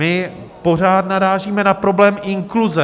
My pořád narážíme na problém inkluze.